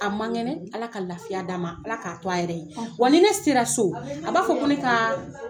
A man kɛnɛ, Ala ka lafiya d'a ma. Ala to a yɛrɛ ye. Wa ni ne sera so, a b'a fɔ ko ne ka